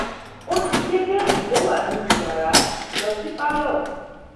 ó ti gbé bẹẹdì tó wà nínú yàrá lọ sí pálọ